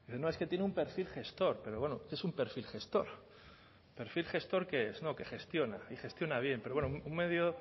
no es que tiene un perfil gestor pero bueno qué es un perfil gestor no que gestiona que gestiona bien pero bueno